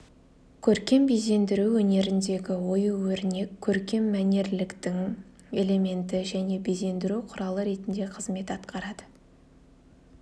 көркем безендіру өнеріндегі ою-өрнек көркем мәнерліліктің элементі және безендіру құралы ретінде қызмет атқарады